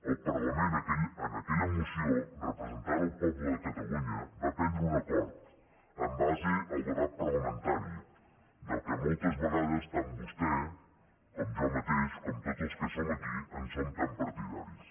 el parlament en aquella moció representant el poble de catalunya va prendre un acord en base al debat parlamentari del qual moltes vegades tant vostè com jo mateix com tots els que som aquí som tan partidaris